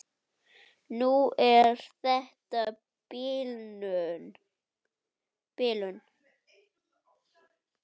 Núna er þetta bilun.